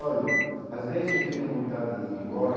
Olha, às vezes eu tenho vontade de ir embora.